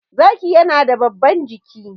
zaki yana da babban jiki